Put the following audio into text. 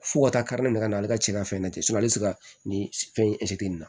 Fo ka taa ne ka na ale ka cɛ ka fɛn na ten hali sisan nin fɛn in na